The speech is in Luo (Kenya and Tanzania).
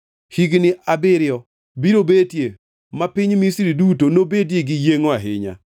Higni abiriyo biro betie ma piny Misri duto nobedie gi yiengʼo ahinya,